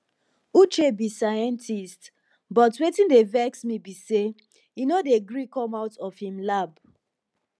uche be scientist but wetin dey vex me be say he no dey gree come out from im lab